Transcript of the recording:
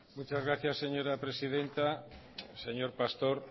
muchas gracias señora presidenta señor pastor